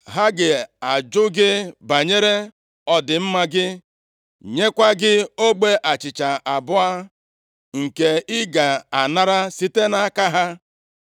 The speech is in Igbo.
Ha ga-ajụ gị banyere ọdịmma gị, nyekwa gị ogbe achịcha abụọ, nke ị ga-anara site nʼaka ha.